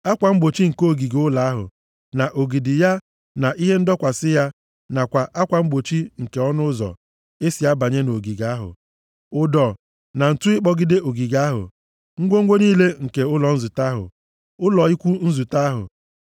akwa mgbochi nke ogige ụlọ ahụ, na ogidi ya na ihe ndọkwasị ya nakwa akwa mgbochi nke ọnụ ụzọ e si abanye nʼogige ahụ; ụdọ na ǹtu ịkpọgide ogige ahụ; ngwongwo niile nke ụlọ nzute ahụ, ụlọ ikwu nzute ahụ